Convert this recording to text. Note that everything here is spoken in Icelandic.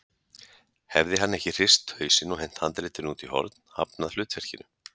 Hefði hann ekki hrist hausinn og hent handritinu út í horn, hafnað hlutverkinu?